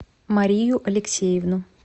марию алексеевну